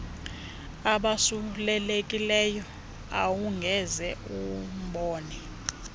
abasulelekileyo awungeze umbone